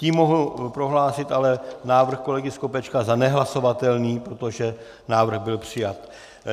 Tím mohu prohlásit ale návrh kolegy Skopečka za nehlasovatelný, protože návrh byl přijat.